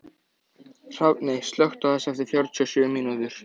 Hrafney, slökktu á þessu eftir fjörutíu og sjö mínútur.